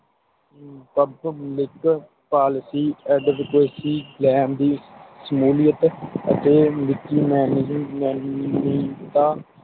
Public Policy Advocacy ਲੈਣ ਦੀ ਸਹੂਲੀਅਤ ਅਤੇ ਵਿਕੀ ਮਾਨਜ਼ ਮਨਾਯਤਾ